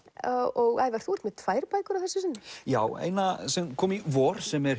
og Ævar þú ert með tvær bækur að þessu sinni já eina sem kom í vor sem er